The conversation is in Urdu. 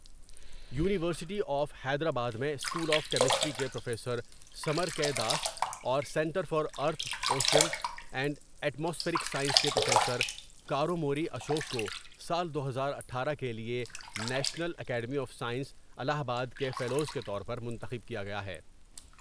یو نیورسٹی آف حیدرآباد میں اسکول آف کیمسٹری کے پروفیسر سمر کے داس اور سنٹر فار ارتھ ، اوشین اور ایٹ ماسفیرک سائنس کے پروفیسر کا روموری اشوک کو سال دو ہزاراٹھارہ کے لیے national academy of science Allahabad کے فیلوز کے طور پر منتخب کیا گیا ہے ۔